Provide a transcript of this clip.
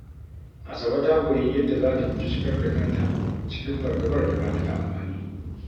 Asabe ta koyi yadda za ta guji shigar da kanta cikin fargabar da ba ta da amfani.